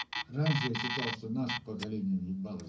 раньше я считал что наше поколение въебалось